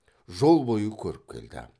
жол бойы көріп келді